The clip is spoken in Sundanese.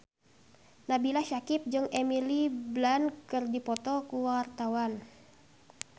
Nabila Syakieb jeung Emily Blunt keur dipoto ku wartawan